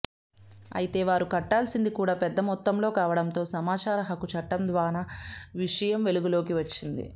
అయితే వారు కట్టాల్సింది కూడా పెద్ద మొత్తంలో కావడంతో సమాచార హక్కు చట్టం ద్వానా విషయం వెలుగులోకి వచ్చింది